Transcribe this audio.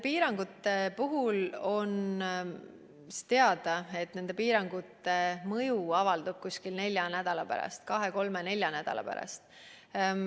Piirangute puhul on teada, et nende mõju avaldub umbes nelja nädala pärast – kahe, kolme, nelja nädala pärast.